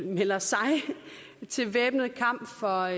melder sig til væbnet kamp for